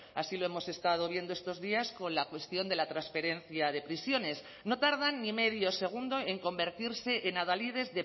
así lo hemos estado viendo estos días con la cuestión de la transferencia de prisiones no tardan ni medio segundo en convertirse en adalides